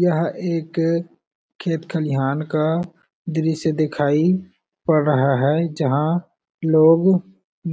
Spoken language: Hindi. यह एक खेत खालिहान का दृश्य दिखाई पड़ रहा हैं जहां लोग